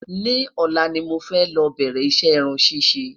ni òla ní mọ fẹ ló bẹrẹ iṣẹ irún ṣiṣẹ